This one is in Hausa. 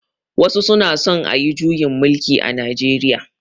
Wasu suna son ayi juyin mulki a Najeriya.